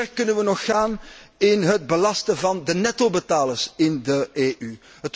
Hoe ver kunnen we nog gaan in het belasten van de nettobetalers in de EU?